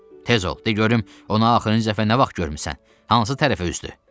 Tez ol, de görüm ona axırıncı dəfə nə vaxt görmüsən, hansı tərəfə üzdü?